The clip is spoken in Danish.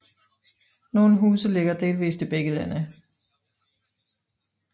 Nogle huse ligger delvist i begge lande